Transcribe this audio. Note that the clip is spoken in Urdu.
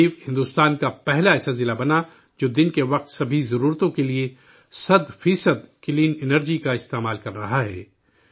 دیو بھارت کا پہلا ایسا ضلع بنا ہے، جو دن کے وقت سبھی ضرورتوں کے لیے سو فیصد کلین انرجی کا استعمال کر رہا ہے